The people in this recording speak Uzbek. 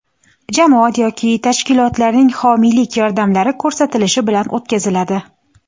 jamoat yoki tashkilotlarning homiylik yordamlari ko‘rsatilishi bilan o‘tkaziladi.